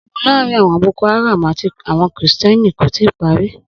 Ogun laarin awon boko haram ati awon kristi ko tii pari.